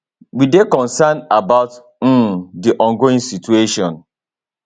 we dey concerned about um di ongoing situation